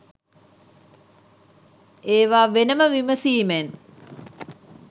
ඒවා වෙනම විමසීමෙන්